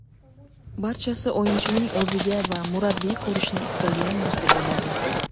Barchasi o‘yinchining o‘ziga va murabbiy ko‘rishni istagan narsaga bog‘liq.